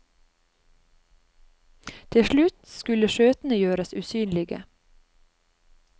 Til slutt skulle skjøtene gjøres usynlige.